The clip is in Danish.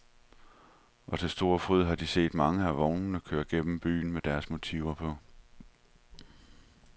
Og til stor fryd har de set mange af vognene køre gennem byen med deres motiver på.